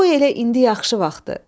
Qoy elə indi yaxşı vaxtıdır.